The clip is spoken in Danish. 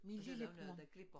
Og så der jo noget der glipper